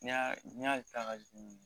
N'i y'a ta ka